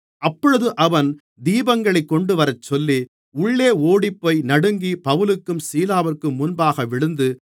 அப்பொழுது அவன் தீபங்களைக் கொண்டுவரச்சொல்லி உள்ளே ஓடிப்போய் நடுங்கி பவுலுக்கும் சீலாவிற்கும் முன்பாக விழுந்து